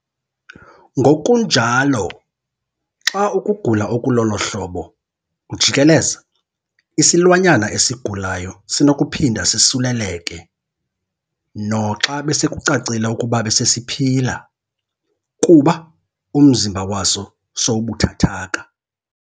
Ngokunjalo, xa ukugula okulolo hlobo kujikeleza, isilwanyana esigulayo sinokuphinda sisuleleke - noxa besekucacile ukuba besesiphila - kuba umzimba waso sowubuthathaka.